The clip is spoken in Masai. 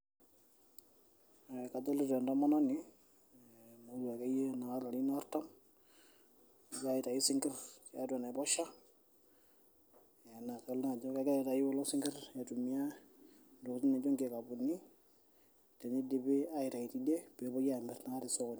Kadoilta entomononi naata akeyie larin artham, egira aitau sinkir tiatua enaiposha na kegira naa aitau kulo singir aitumia ntokitin naijo kikapuni teneidipi aitau teine peepuo amir tosokoni.